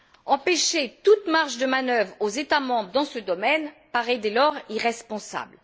Ôter toute marge de manœuvre aux États membres dans ce domaine paraît dès lors irresponsable.